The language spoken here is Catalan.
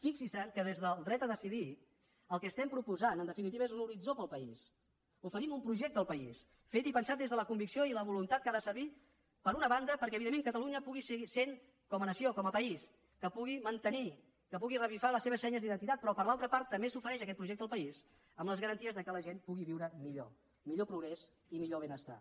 fixinse que des del dret a decidir el que estem proposant en definitiva és un horitzó per al país oferim un projecte al país fet i pensat des de la convicció i la voluntat que ha de servir per una banda perquè evidentment catalunya pugui seguir sent com a nació com a país que pugui mantenir que pugui revifar les seves senyes d’identitat però per altra part també s’ofereix aquest projecte al país amb les garanties que la gent pugui viure millor millor progrés i millor benestar